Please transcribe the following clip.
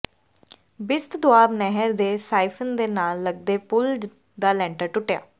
ਬਿਸਤ ਦੁਆਬ ਨਹਿਰ ਦੇ ਸਾਈਫ਼ਨ ਦੇ ਨਾਲ ਲਗਦੇ ਪੁਲ ਦਾ ਲੈਂਟਰ ਟੁੱਟਿਆ